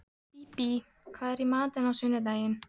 Bíbí, hvað er í matinn á sunnudaginn?